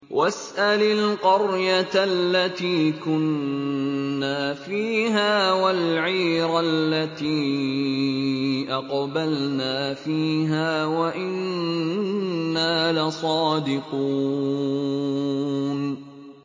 وَاسْأَلِ الْقَرْيَةَ الَّتِي كُنَّا فِيهَا وَالْعِيرَ الَّتِي أَقْبَلْنَا فِيهَا ۖ وَإِنَّا لَصَادِقُونَ